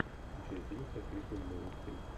включай фильм с актрисой мэрил стрип